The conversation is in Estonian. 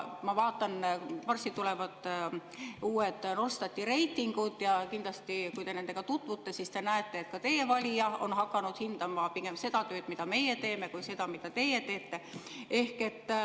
Ma vaatan, varsti tulevad uued Norstati reitingud ja kindlasti, kui te nendega tutvute, siis te näete, et ka teie valija on hakanud hindama pigem seda tööd, mida meie teeme, mitte seda, mida teie teete.